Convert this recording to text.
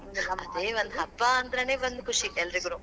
ಹಬ್ಬ ಅಂದ್ರೇನೆ ಒಂದ್ ಖುಷಿ ಎಲ್ರಿಗೂನೂ.